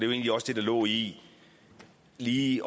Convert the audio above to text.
egentlig også det der lå i lige